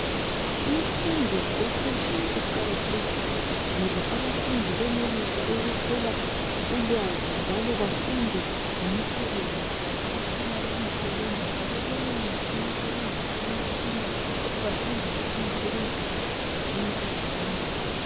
Imfundo yaphezulu iqakathekile ngoba abafundi benelisa ukuthola ulwazi njalo bafunde ngemisebenzi abafuna ukuyisebenza njalo benelise ukusebenzisa imitshina bafundele ukuyisebenzisa emsebenzini yabo.